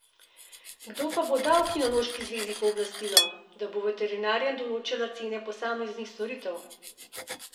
Kdo pa bo dal kinološki zvezi pooblastilo, da bo veterinarjem določala cene posameznih storitev?